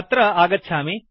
अत्र आगच्छामि